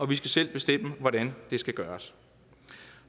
vi skal selv bestemme hvordan det skal gøres